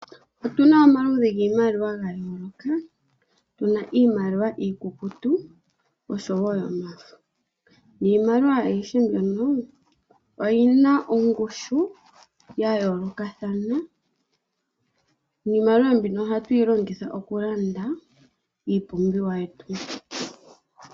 Otu na omaludhi giimaliwa ga yololoka, tu na iimaliwa iikukutu oshowo yomafo. Iimaliwa ayihe mbyono oyi na ongushu ya yoolokathana. Niimaliwa mbino ohatu yi longitha okulanda iipumbiwa yetu.